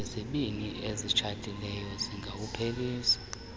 izibini ezitshatileyo zingawuphelisa